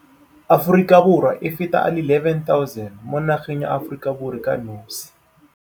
Aforika Borwa a feta a le 11 000 mo nageng ya Aforika Borwa ka nosi.